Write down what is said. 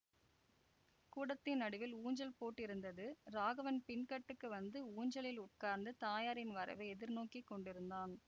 கூடத்தின் நடுவில் ஊஞ்சல் போட்டிருந்தது ராகவன் பின்கட்டுக்கு வந்து ஊஞ்சலில் உட்கார்ந்து தாயாரின் வரவை எதிர்நோக்கிக் கொண்டிருந்தான்